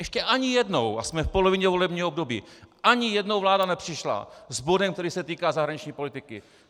Ještě ani jednou, a jsme v polovině volebního období, ani jednou vláda nepřišla s bodem, který se týká zahraniční politiky.